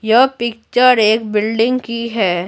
यह पिक्चर एक बिल्डिंग की है।